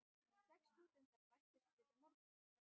Sex stúdentar bættust við í morgun.